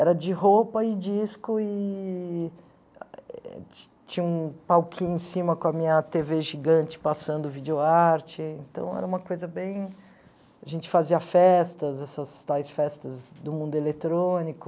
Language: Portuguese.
Era de roupa e disco eee ti tinha um palquinho em cima com a minha tê vê gigante passando video-arte, então era uma coisa bem... A gente fazia festas, essas tais festas do mundo eletrônico